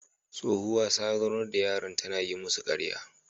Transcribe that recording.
Tsohuwa ta zaunar da yaran tana yi musu karya